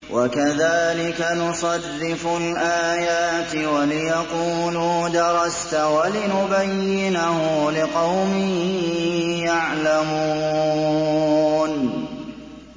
وَكَذَٰلِكَ نُصَرِّفُ الْآيَاتِ وَلِيَقُولُوا دَرَسْتَ وَلِنُبَيِّنَهُ لِقَوْمٍ يَعْلَمُونَ